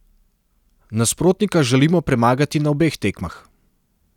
Nasprotnika želimo premagati na obeh tekmah.